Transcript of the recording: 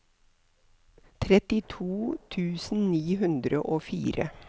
trettito tusen ni hundre og fire